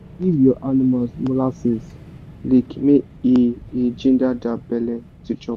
give your animals molasses lick make e e ginger their belle to chop